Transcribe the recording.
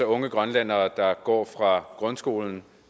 unge grønlændere at gå fra grundskolen